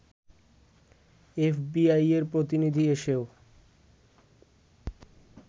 এফবিআইয়ের প্রতিনিধি এসেও